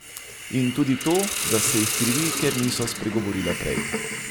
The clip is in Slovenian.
In tudi to, da se jih krivi, ker niso spregovorile prej.